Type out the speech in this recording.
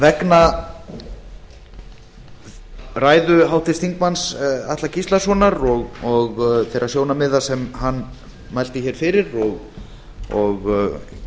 vegna ræðu háttvirts þingmanns atla gíslasonar og þeirra sjónarmiða sem hann mælti hér fyrir og